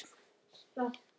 Og rekur upp hlátur.